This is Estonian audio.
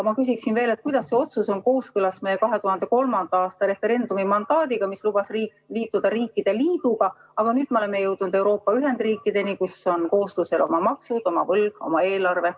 Ma küsin veel, kuidas see otsus on kooskõlas meie 2003. aasta referendumi mandaadiga, mis lubas liituda riikide liiduga, aga nüüd me oleme jõudnud Euroopa ühendriikideni, kus kooslusel on oma maksud, oma võlg, oma eelarve.